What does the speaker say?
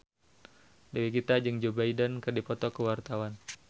Dewi Gita jeung Joe Biden keur dipoto ku wartawan